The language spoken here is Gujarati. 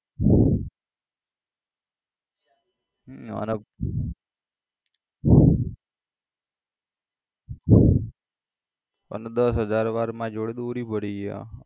હમ અને દસ હજાર વાર મારી જોડે દોરી પડી છે.